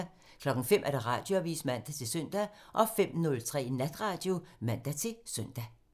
05:00: Radioavisen (man-søn) 05:03: Natradio (man-søn)